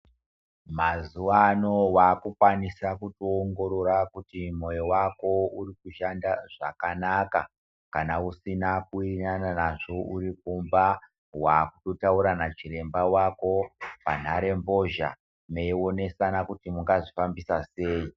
Mazuva ano wakukwanisa kuongorora kuti moyo wako uri kushanda zvakanaka kana usina kuingana nazvo uri kumba wakutotaura nachiremba wako panhaee mbozha meionesana kuti mungazvikwanisa sei.